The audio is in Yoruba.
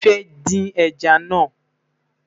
mí fẹ dín ẹja nà